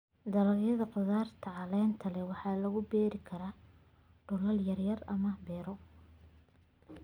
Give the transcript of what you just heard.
Dalagyada khudaarta caleenta leh waxaa lagu beeri karaa dhulal yar yar ama beero.